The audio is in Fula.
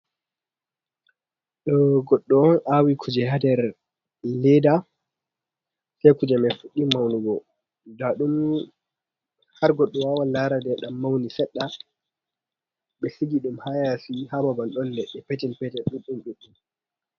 Ɗo goddo on awi kuje hander leda, sei kuje mai fuɗɗi maunugo, nda ɗum har goddo wawan lara ɗum mauni seɗɗa. Ɓe sigi ɗum hayasi, ha babal ɗon leɗɗe petel petel ɗuɗɗum ɗuɗɗum.